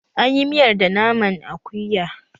An yi miyar da naman akuya